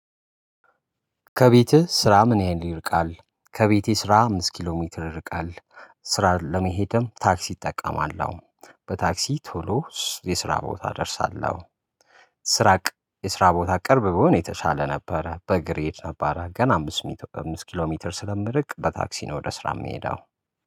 ከቤትህ ስራ ምን ያህል ይርቃል? ከቤቴ ስራ አምስት ኪሎ ሜትር ይርቃል። ስራ ለመሄድም ታክሲ እጠቀማለው በታክሲ ቶሎ የስራ ቦታ እደርሳለሁ። ስራ የስራ ቦታ ቅርብ ብሆን የተሻለ ነበረ በእግር እሄድ ነበረ ገና አምስት ኪሎ ሜትር ስለምርቅ በታክሲ ነው ወደ ስራ የምሄደው